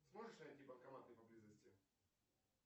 сможешь найти банкоматы поблизости